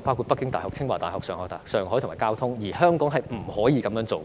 包括北京大學、清華大學、上海復旦大學和交通大學，而香港不可以這樣做。